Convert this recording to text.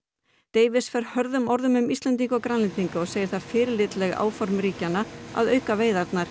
davies fer hörðum orðum um Íslendinga og Grænlendinga og segir það fyrirlitleg áform ríkjanna að auka veiðarnar